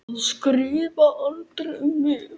Að skrifa aldrei um mig.